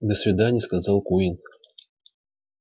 до свидания сказал куинн